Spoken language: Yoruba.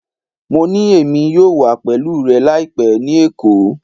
Mo ni Emi yoo wa pẹlu rẹ laipẹ ni Eko